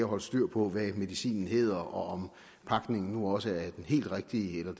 holde styr på hvad medicinen hedder og om pakningen nu også er den helt rigtige eller